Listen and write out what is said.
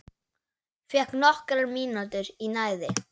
Fékk nokkrar mínútur í næði.